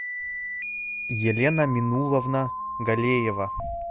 елена минулловна галеева